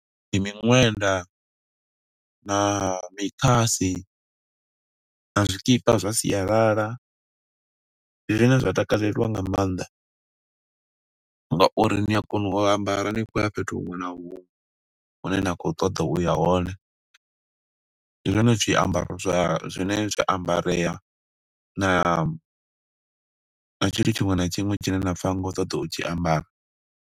Ndi miṅwenda na mikhasi, na zwikipa zwa sialala. Zwine zwa takalelwa nga maanḓa, nga uri ni a kona u ambara ni khou ya fhethu huṅwe na huṅwe, hune na kho ṱoḓa uya hone. Ndi zwone zwiambaro zwa, zwine zwa ambareya na na tshithu tshiṅwe na tshiṅwe, tshine nda pfa ni khou ṱoḓa u tshi ambara.